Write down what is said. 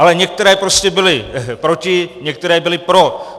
Ale některé prostě byly proti, některé byly pro.